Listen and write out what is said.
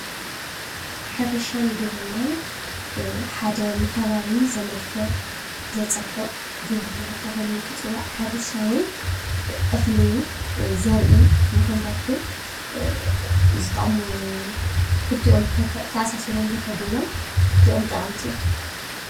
ሕርሻን ግብርናን ሓደ ንኸባቢ ዘመልክዕ ዘፀብቅ ግብርና ተባሂሉ እንትፅዋዕ ሕርሻ እውን እኽሊ ዘርኢ ንኽንረክብ ዝጠቅሙ ክልቲኦም ተተኣሳሲሮም ዝከዱ እዮም ።ክልቲኦም ጠቀምቲ እዮም።